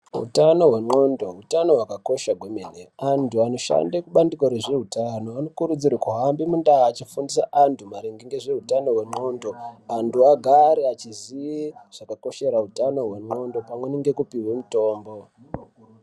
Utano hwe ndxondo utano hwaka kosha kwe mene antu anoshande ku bandiko rezve utano vano kukurudzirwe kuhambe mundau achi fundisa antu maringe nezve utano hwe ndxondo antu gare echi ziye zvaka koshera utano hwe ndxondo pamwe neku pihwa mitombo.